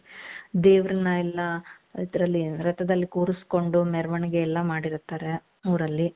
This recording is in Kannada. ದೇವರನ್ನ ಎಲ್ಲಾ ಇದ್ರಲ್ಲಿ ರಥದಲ್ಲಿ ಕೂರಿಸಿಕೊಂಡು ಮೆರವಣಿಗೆ ಎಲ್ಲಾ ಮಾಡಿರ್ತಾರೆ ಊರಲ್ಲಿ .